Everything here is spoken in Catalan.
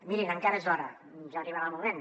mirin encara és d’hora ja arribarà el moment